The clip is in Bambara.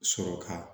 Sɔrɔ ka